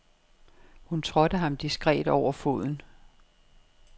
Hun trådte ham diskret over foden.